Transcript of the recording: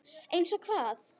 Eins og hvað?